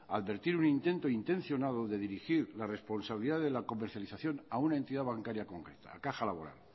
advertir un intento intencionado de dirigir la responsabilidad de la comercialización a una entidad bancaria concreta a caja laboral